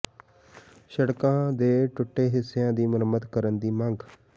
ਸੜਕਾਂ ਦੇ ਟੁੱਟੇ ਹਿੱਸਿਆਂ ਦੀ ਮੁਰੰਮਤ ਕਰਨ ਦੀ ਮੰਗ